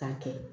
K'a kɛ